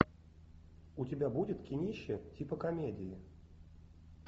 у тебя будет кинище типа комедии